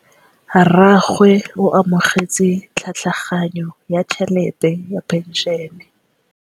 Rragwe o amogetse tlhatlhaganyô ya tšhelête ya phenšene.